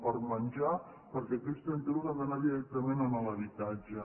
per menjar perquè aquells trenta euros han d’anar directament a l’habitatge